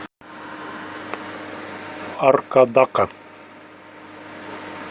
аркадака